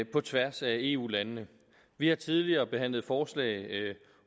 på tværs af eu landene vi har tidligere behandlet forslag